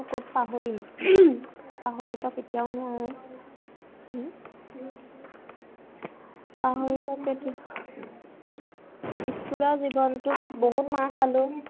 পাহৰিব সেইটো school ৰ জীৱনটোত বহুত মাৰ খালো।